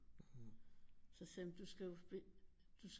Så sagde jeg men du skal jo du